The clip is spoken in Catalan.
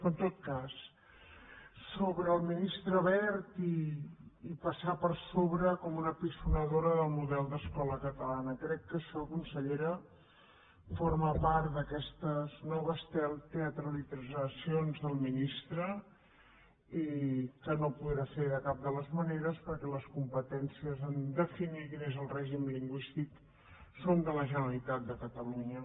però en tot cas sobre el ministre wert i passar per sobre com una piconadora del model d’escola catalana crec que això consellera forma part d’aquestes noves teatralitzacions del ministre i que no podrà fer de cap de les maneres perquè les competències per definir quin és el règim lingüístic són de la generalitat de catalunya